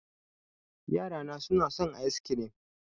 Yara na na son ice kirim